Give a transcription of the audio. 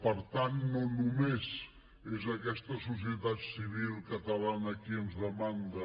per tant no només és aquesta societat civil catalana qui ens demanda